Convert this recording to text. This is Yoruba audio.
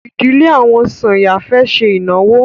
Ìdílé àwọn Sànyà fẹ́ ṣe ìnáwó.